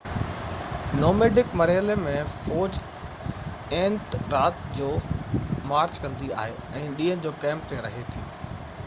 nomadic مرحلي ۾ فوج اينٽ رات جو مارچ ڪندي آهي ۽ ڏينهن جو ڪئمپ تي رهي ٿي